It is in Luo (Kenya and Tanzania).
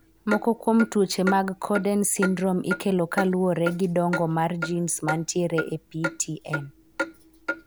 Moko kuom tuoche mag Cowden syndrome ikelo kaluwore gi dongo mar gins mantiere e PTEN.